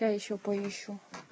я ещё поищу